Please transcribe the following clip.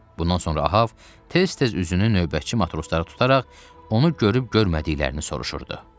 Bundan sonra Ahab tez-tez üzünü növbətçi matroslara tutaraq onu görüb-görmədiklərini soruşurdu.